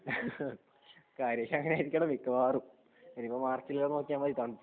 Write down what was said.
ഹ ഹ ഹ കാര്യങ്ങൾ അങ്ങനെയൊക്കെ ആയിരിക്കണം മിക്കവാറും ഇനിയിപ്പോ മാർച്ചിൽ നോക്കിയാൽ മതി തണുപ്പ്